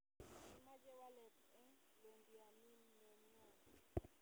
kimache walet en Londianinenyon